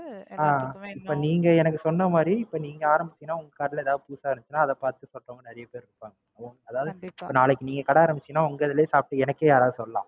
அஹ் இப்ப நீங்க எனக்கு சொன்ன மாதிரி இப்ப நீங்க ஆரம்பிச்சீங்கன்னா உங்க கடைல எதாவது புதுசா இருந்துச்சுனா அதை பாத்து வரவுங்க நிறைய பேர் இருப்பாங்க. அதாவது இப்ப நீங்க நாளைக்கி கடை ஆரம்பிச்சீங்கன்னா உங்கதுலயே சாப்டு எனக்கே யாராச்சும் சொல்லலாம்.